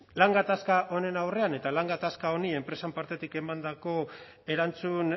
lan gatazka honen aurrean eta lan gatazka honi enpresaren partetik emandako erantzun